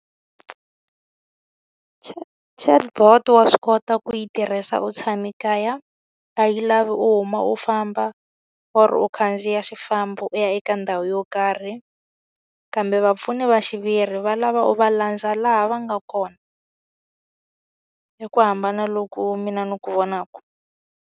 Chatbot wa swi kota ku yi tirhisa u tshame kaya, a yi lavi u huma u famba or u khandziya xifambo u ya hina eka ndhawu yo karhi. Kambe vapfuni va xiviri va lava u va landza laha va nga kona. I ku hambana loku mina ni ku vonaka.